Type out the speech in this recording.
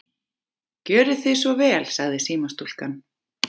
Gjörið þið svo vel, sagði símastúlkan.